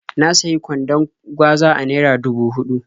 Na sayi kwandon gwaza a naira dubu huɗu.